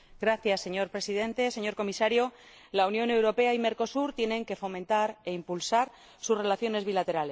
Señor Presidente, señor Comisario, la Unión Europea y Mercosur tienen que fomentar e impulsar sus relaciones bilaterales.